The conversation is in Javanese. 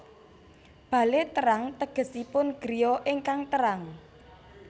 Bale Terang tegesipun griya ingkang terang